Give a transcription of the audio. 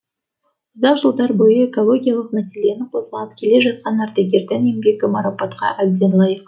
ұзақ жылдар бойы экологиялық мәселені қозғап келе жатқан ардагердің еңбегі марапатқа әбден лайық